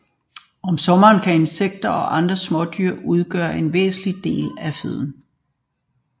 Om sommeren kan insekter og andre smådyr udgøre en væsentlig del af føden